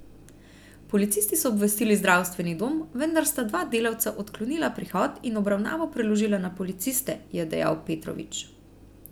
Policisti so obvestili zdravstveni dom, vendar sta dva delavca odklonila prihod in obravnavo preložila na policiste, je dejal Petrovič.